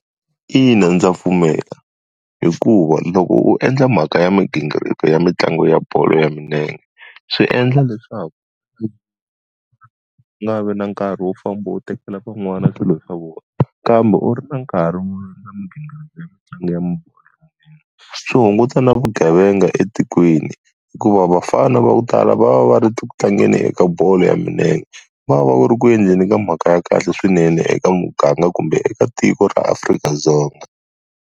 Ina, ndza pfumela. Hikuva loko u endla mhaka ya migingiriko ya mitlangu ya bolo ya milenge, swi endla leswaku u nga vi na nkarhi wo famba u tekela van'wana swilo swa vona, kambe u ri na nkarhi . Swi hunguta na vugevenga etikweni, hikuva vafana va ku tala va va va ri ku tlangeni eka bolo ya milenge, va va va va ri ku endleni ka mhaka ya kahle swinene eka muganga kumbe eka tiko ra Afrika-Dzonga.